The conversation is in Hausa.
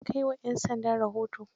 Ka kai wa 'yan sanda rahoto?